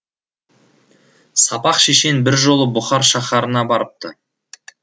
сапақ шешен бір жолы бұхар шаһарына барыпты